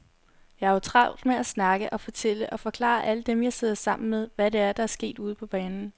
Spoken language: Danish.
Jeg har jo travlt med at snakke og fortælle og forklare alle dem, jeg sidder sammen med, hvad det er, der sker ude på banen.